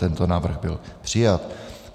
Tento návrh byl přijat.